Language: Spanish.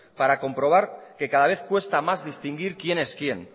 para comprobar que cada vez cuesta más distinguir quién es quién